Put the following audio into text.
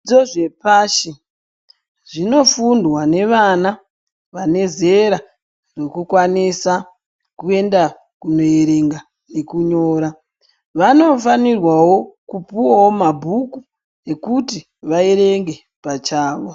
Dzo zvepashi zvinofundwa nevana vane zera rekukwanisa kuenda kuerenga nekunyora vanofanirwawo kupuwawo mabhuku ekuti vaerenge pachavo.